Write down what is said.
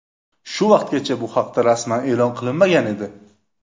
Shu vaqtgacha bu haqda rasman e’lon qilinmagan edi.